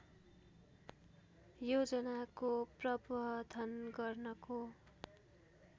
योजनाको प्रबधन गर्नको